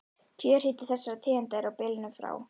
Kjörhiti þessara tegunda er á bilinu frá